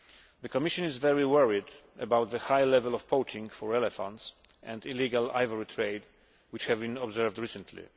The Commission is very worried about the high level of poaching for elephants and illegal ivory trade which has been observed recently.